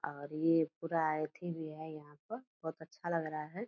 और ये पूरा एथि भी है यहाँ पर बहुत अच्छा लग रहा है।